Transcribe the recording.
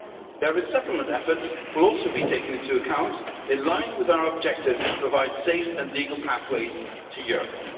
Their resettlement efforts will also be taken into account, in line with our objective to provide safe and legal pathways to Europe.